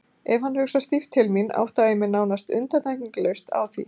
Ef hann hugsar stíft til mín átta ég mig nánast undantekningarlaust á því.